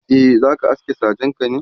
zaka aske sajenka ne?.